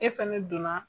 E fɛnɛ donna